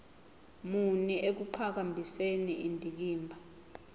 muni ekuqhakambiseni indikimba